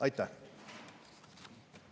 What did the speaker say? Aitäh!